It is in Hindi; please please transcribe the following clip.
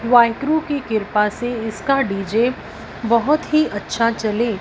वाहेगुरु की किरपा से इसका डी_जे बहोत ही अच्छा चले।